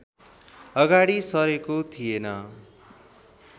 अगाडि सरेको थिएन